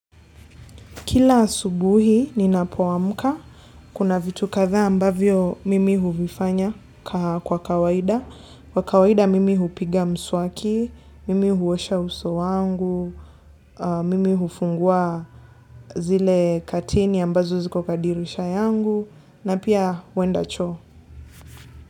Kila asubuhi ninapoamuka, kuna vitu kadhaa ambavyo mimi huvifanya kwa kawaida. Kwa kawaida mimi hupiga mswaki, mimi huosha uso wangu, mimi hufungua zile kateni ambazo ziko kwa dirisha yangu, na pia huenda choo.